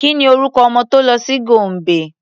Ki ni orúkọ ọmọ tó lọ sí Gombe?